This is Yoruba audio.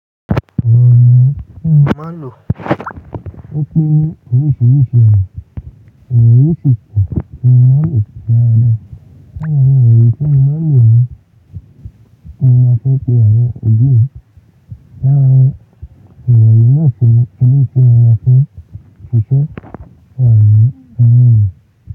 Àwọn èròjà tí mo máa ń lò, ó pín oríṣiríṣi àwọn èròjà oríṣiríṣi tí mo máa ń lò ní ara dá. Láàárín àwọn èròjà tí mo máa ń lò ni mo máa fẹ́ pe àwọn òjú, láàárín àwọn èròjà iná ìsinmi ni mo máa fẹ́ ṣíṣe wà ní inú mi.